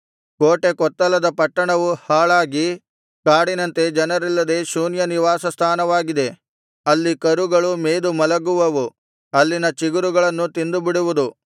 ಕೋಟೆಕೊತ್ತಲದ ಪಟ್ಟಣವು ಹಾಳಾಗಿ ಕಾಡಿನಂತೆ ಜನರಿಲ್ಲದೆ ಶೂನ್ಯ ನಿವಾಸ ಸ್ಥಾನವಾಗಿದೆ ಅಲ್ಲಿ ಕರುಗಳು ಮೇದು ಮಲಗುವುದು ಅಲ್ಲಿನ ಚಿಗುರುಗಳನ್ನು ತಿಂದುಬಿಡುವುದು